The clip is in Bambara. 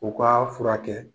U k'a furakɛ.